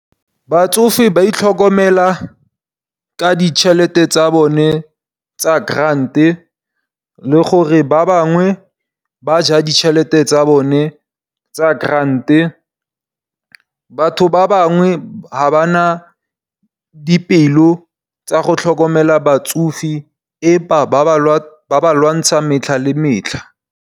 Batsofe ba itlhokomela ka ditšhelete tsa bone tsa grant le gore ba bangwe ba ja ditšhelete tsa bone tsa grant. Batho ba bangwe ha ba na dipelo tsa go tlhokomela batsofe empa ba ba lwantsha metlha le metlha.